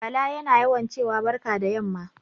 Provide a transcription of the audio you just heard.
Bala yana yauwa cewa barka da yamma